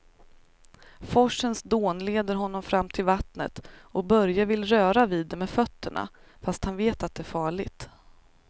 Forsens dån leder honom fram till vattnet och Börje vill röra vid det med fötterna, fast han vet att det är farligt.